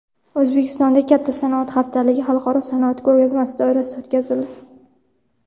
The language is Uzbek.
O‘zbekistonda katta sanoat haftaligi xalqaro sanoat ko‘rgazmasi doirasida o‘tkazildi.